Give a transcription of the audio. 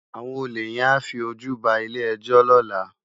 Awòn ólé yèn á fi ójú bá ilé èjò lòlá